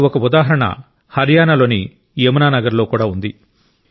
అలాంటి ఒక ఉదాహరణ హర్యానాలోని యమునా నగర్లో కూడా ఉంది